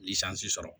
sɔrɔ